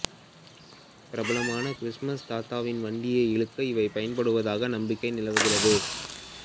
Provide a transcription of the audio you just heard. பிரபலமான கிறித்துமசு தாத்தாவின் வண்டியை இழுக்க இவை பயன்படுவதாக நம்பிக்கை நிலவுகிறது